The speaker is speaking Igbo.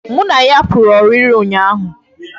Mụ na ya pụrụ ọrịrị ụnyaahụ